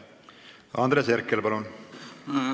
Andres Herkel, palun!